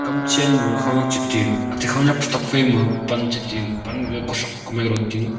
kamchen ma khawnyak chetue ate khawnyak pe tokfai ma panche tue panga kothrok kumai ro tue.